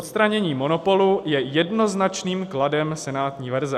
Odstranění monopolu je jednoznačným kladem senátní verze.